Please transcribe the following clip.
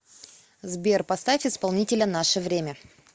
сбер поставь исполнителя нашевремя